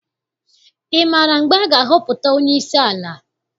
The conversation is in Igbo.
Ị maara mgbe a ga-ahọpụta onyeisi ala?